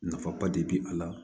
Nafaba de be a la